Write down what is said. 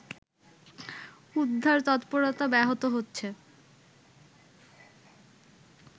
উদ্ধার তৎপরতা ব্যাহত হচ্ছে